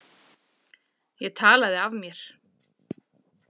Ég talaði af mér.